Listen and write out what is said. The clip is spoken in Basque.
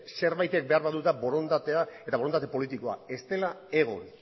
zerbait ere behar badu da borondatea eta borondate politikoa ez dela egon